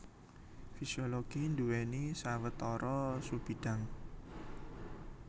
Fisiologi nduwèni sawetara subbidhang